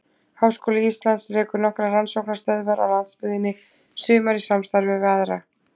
Háskóli Íslands rekur nokkrar rannsóknastöðvar á landsbyggðinni, sumar í samstarfi við aðra.